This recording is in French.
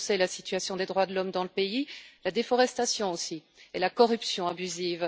Ils dénonçaient la situation des droits de l'homme dans le pays, la déforestation aussi et la corruption abusive.